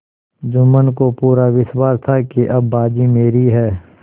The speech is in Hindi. जुम्मन को पूरा विश्वास था कि अब बाजी मेरी है